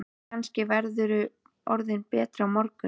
Kannski verðurðu orðinn betri á morgun.